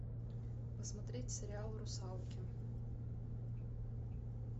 посмотреть сериал русалки